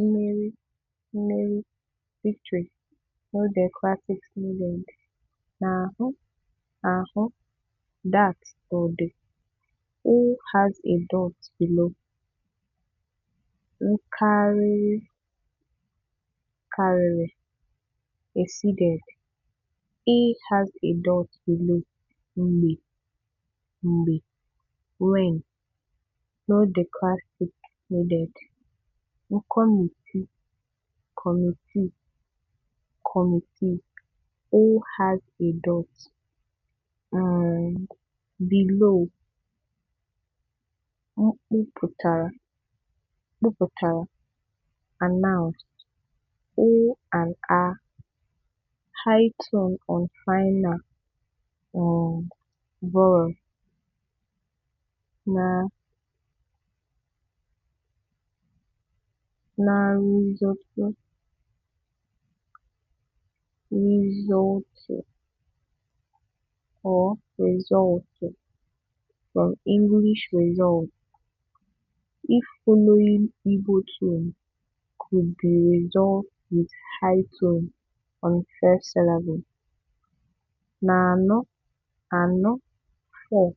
Mmeri Mmeri "Victory" – no diacritics needed.\nahụ ahụ "that" or "the" – ụ has a dot below.\nkarịrị karịrị "exceeded" – ị has a dot below.\nmgbe mgbe "when" – no diacritics needed.\nkọmitii kọmitii "committee" – ọ has a dot um below.\nkwupụtara kwupụtara "announced" – ụ and á (high tone on final um vowel).\nrezọọtụ rézọltụ or rezọltụ From English results; if following Igbo tone, could be rézọltụ with high tone on first syllable.\nanọ anọ "four"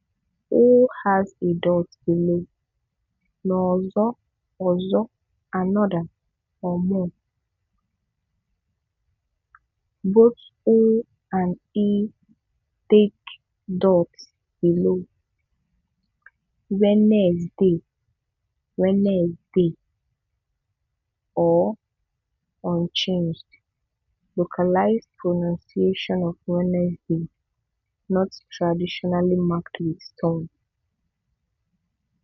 – ọ has a dot below.\nọzọ ọzọ "another/more" – both ọ and ị take dots below.\nWednesde Wednesdee (or unchanged) Localized pronunciation of Wednesday. Not traditionally marked with tone.